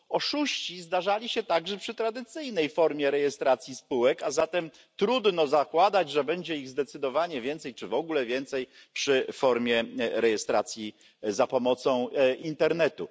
Oszuści zdarzali się także przy tradycyjnej formie rejestracji spółek, a zatem trudno zakładać, że będzie ich zdecydowanie więcej, czy w ogóle więcej przy formie rejestracji za pomocą internetu.